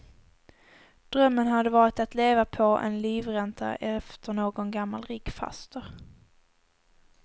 Drömmen hade varit att leva på en livränta efter nån gammal rik faster.